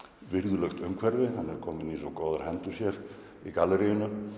virðulegt umhverfi hann er komin í svo góðar hendur hér í